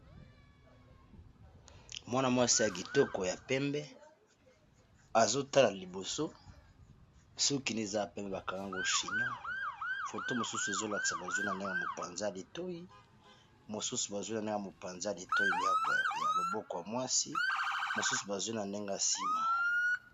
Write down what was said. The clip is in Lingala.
mwana-mwasi ya kitoko ya pembe azotala liboso soki ne eza ya pembe bakangango chignon foto mosusu ezolakisa bazwi na ndenge mopanza ya litoi mosusu bazwi nandenge mopanza a litoi ya loboko ya mwasi mosusu bazwi na ndenge nsima